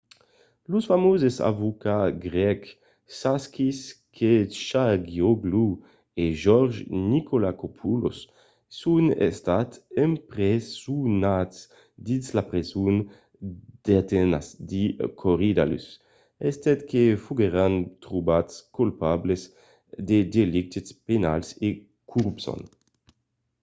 los famoses avocats grècs sakis kechagioglou e george nikolakopoulos son estats empresonats dins la preson d'atenas de korydallus estent que foguèron trobats colpables de delictes penals e corrupcion